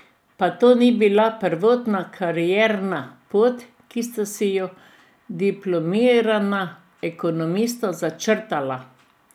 Pa to ni bila prvotna karierna pot, ki sta si jo diplomirana ekonomista začrtala.